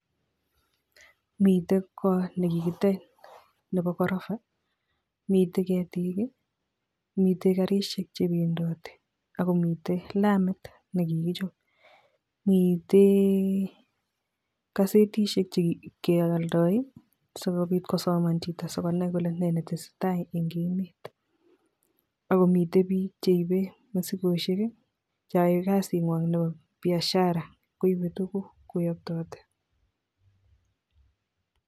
Miten kot nekikitech neboo korofa, mitten keetik I,miten garisiek chebendoti ak komiten lamit nekikichop, mitten gasetisiek che keoldo sikobiit kosaman chito sikobiit konai kole Nenetesetai eng emet, ak komiten biik cheibe mosikosieg cheyoe kasinywan Nebo biashara koibe tuguuk kouniton